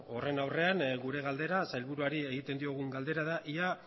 horren aurrean gure galdera sailburuari egiten diogun galdera da ea